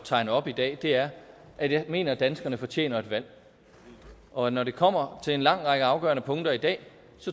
tegne op i dag er at jeg mener at danskerne fortjener et valg og når det kommer til en lang række afgørende punkter i dag